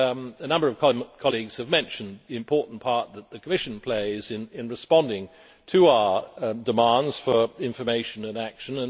a number of colleagues have mentioned the important part that the Commission plays in responding to our demands for information and action.